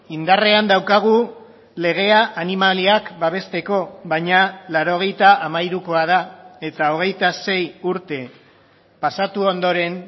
indarrean daukagu legea animaliak babesteko baina laurogeita hamairukoa da eta hogeita sei urte pasatu ondoren